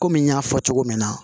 Kɔmi n y'a fɔ cogo min na